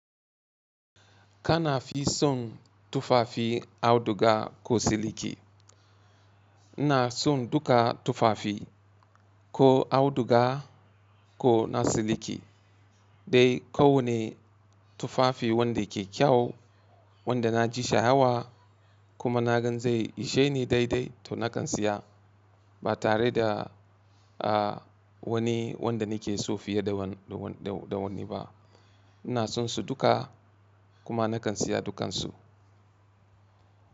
Ka na fi son tufafi auduga ko siliki? Ina son duka tufafi, ko auduga ko na siliki. Dai kowane tufafi wanda ke kyau, wanda na ji sha'awa, kuma na gan zai ishe ni daidai to na kan siya. Ba tare da wani wanda ni ke so fiye da wani ba. Ina sonsu duka, kuma na kan siya dukansu.